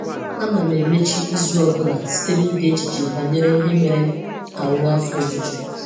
Ana m emechi izu ọ bụla site n’ide echiche banyere ihe mere ka m nwee afọ ojuju.